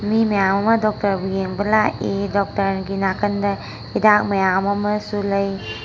ꯃꯤ ꯃꯌꯥꯝ ꯑꯃ ꯗꯣꯛꯇꯔꯕꯨ ꯌꯦꯡꯕ ꯂꯥꯛꯏ ꯗꯣꯛꯇꯔꯒꯤ ꯅꯥꯀꯟꯗꯥ ꯍꯤꯗꯥꯛ ꯃꯌꯥꯝ ꯑꯃꯁꯨ ꯂꯩ꯫